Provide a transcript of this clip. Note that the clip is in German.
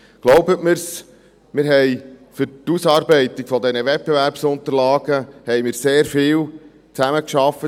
Glauben Sie es mir, wir haben für die Ausarbeitung dieser Wettbewerbsunterlagen sehr viel zusammengearbeitet.